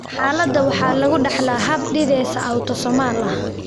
Xaaladda waxaa lagu dhaxlaa hab dithesa autosomalka ah.